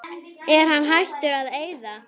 Er hann hættur að eyða?